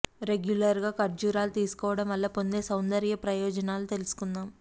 regular గా కర్జూరాలు తీసుకోవడం వల్ల పొందే సౌందర్య ప్రయోజనాలు తెలుసుకుందాం